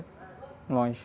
longe.